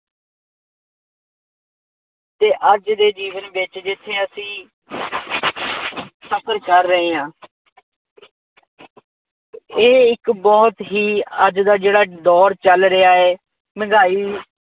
ਅਤੇ ਅੱਜ ਦੇ ਜੀਵਨ ਵਿੱਚ ਜਿੱਥੇ ਅਸੀਂ ਸਫਰ ਕਰ ਰਹੇ ਹਾਂ। ਇਹ ਇੱਕ ਬਹੁਤ ਹੀ ਅੱਜ ਦਾ ਜਿਹੜਾ ਦੌਰ ਚੱਲ ਰਿਹਾ ਹੈ ਮਹਿੰਗਾਈ